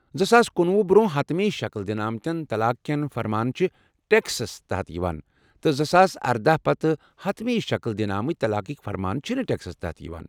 زٕساس کنُوہُ برٛۄنٛہہ حتمی شکل دنہٕ آمتیٚن طلاق کیٚن فرمان چِھ ٹكسس تحت یوان تہٕ زٕساس اردہَ پتہٕ حتمی شکل دنہٕ آمٕتۍ طلاقٕکۍ فرمان چھِنہٕ ٹیكسَس تحت یوان